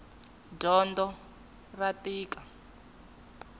dyondo ra tika